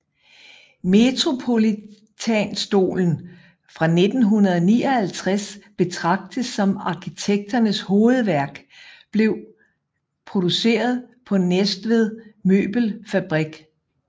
Metropolitanstolen fra 1959 betragtes som arkitekternes hovedværk blev produceret på Næstved Møbelfabrik